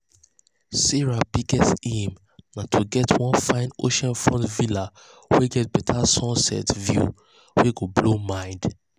sarah biggest aim na to get one fine oceanfront villa wey get better sunset view wey go blow mind.